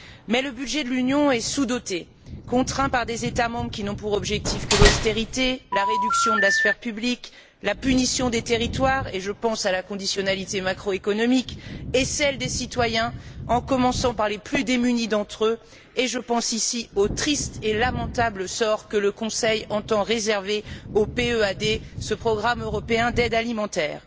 Mais le budget de l'Union est sous doté, contraint par des États membres qui n'ont pour objectif que l'austérité, la réduction de la sphère publique, la punition des territoires je pense ici à la conditionnalité macroéconomique et celle des citoyens, en commençant par les plus démunis d'entre eux et je pense ici au triste et lamentable sort que le Conseil entend réserver au PEAD, ce programme européen d'aide alimentaire.